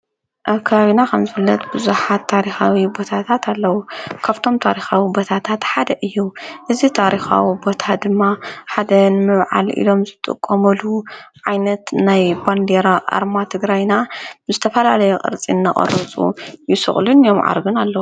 ኣካብና ኸም ዙለት ብዙኃት ታሪኻዊ ቦታታት ኣለዉ ካብቶም ጣሪኻዊ ቦታታትሓደ እዩ እዝ ጣሪኻዊ ቦታ ድማ ሓደን ምብዓል ኢሎም ዝጡቕ ቆሙሉ ዓይነት ናይ በንድሮ ኣርማት ግራይና ምስተፈላለየ ቕርጺ እናቐርፁ ይስቕሉን ዮምዓርግን ኣለዉ።